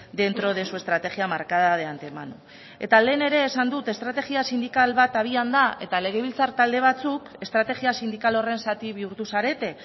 dentro de su estrategia marcada de antemano eta lehen ere esan dut estrategia sindikal bat habian da eta legebiltzar talde batzuk estrategia sindikal horren zati bihurtu zarete